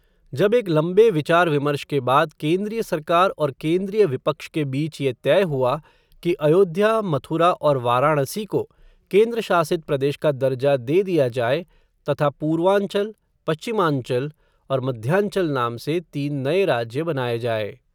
जब एक लंबे विचार विमर्श के बाद, केन्द्रीय सरकार और केन्द्रीय विपक्ष के बीच ये तय हुआ, कि अयोध्या मथुरा और वाराणसी को, केन्द्रशासित प्रदेश का दर्जा दे दिया जाये, तथा पूर्वांचल, पश्चिमांचल, और मध्यांचल नाम से, तीन नये राज्य बनाये जाये